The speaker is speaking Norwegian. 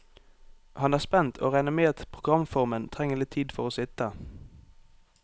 Han er spent, og regner med at programformen trenger litt tid for å sitte.